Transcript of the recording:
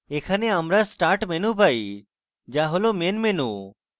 এখানে আমরা start menu পাই যা হল main menu